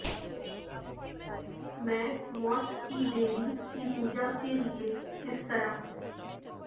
میں موت کی دیوی کی پوجا کے لئے کس طرح